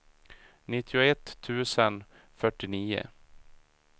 nittioett tusen fyrtionio